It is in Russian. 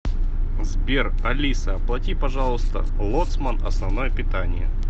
сбер алиса оплати пожалуйста лоцман основное питание